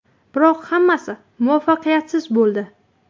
Biroq hammasi muvaffaqiyatsiz bo‘ldi.